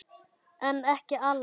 En ekki allar.